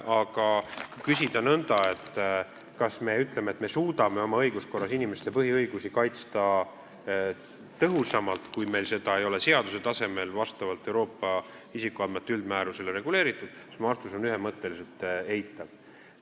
Aga kui küsida nõnda, kas me suudame oma õiguskorras inimeste põhiõigusi kaitsta tõhusamalt, kui meil see ei ole seaduse tasemel vastavalt Euroopa isikuandmete üldmäärusele reguleeritud, siis minu vastus on ühemõtteliselt eitav.